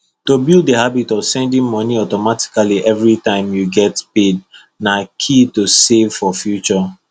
to build the habit of sending money automatically every time you get paid na key to save for future